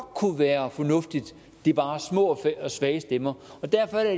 kunne være fornuftigt det er bare små og svage stemmer og derfor